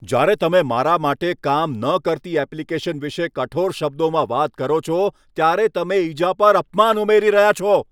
જ્યારે તમે મારા માટે કામ ન કરતી એપ્લિકેશન વિશે કઠોર શબ્દોમાં વાત કરો છો, ત્યારે તમે ઈજા પર અપમાન ઉમેરી રહ્યા છો.